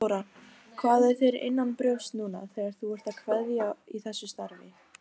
Þóra: Hvað er þér innanbrjósts núna þegar þú ert að kveðja í þessu starfi?